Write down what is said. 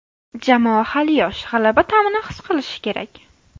Jamoa hali yosh, g‘alaba ta’mini his qilishi kerak.